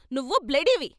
నువ్వు బ్లడీవి.